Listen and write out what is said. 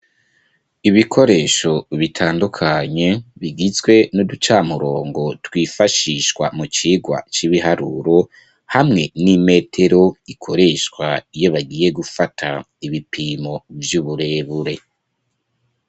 Ibikoresho bitandukanye, bigizwe n'uducamurongo twifashishwa mu cigwa c'ibiharuro, hamwe n'imetero ikoreshwa iyo bagiye gufata ibipimo vy'uburebure.